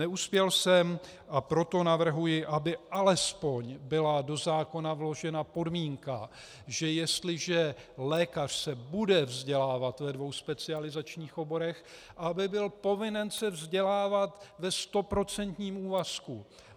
Neuspěl jsem, a proto navrhuji, aby alespoň byla do zákona vložena podmínka, že jestliže lékař se bude vzdělávat ve dvou specializačních oborech, aby byl povinen se vzdělávat ve stoprocentním úvazku.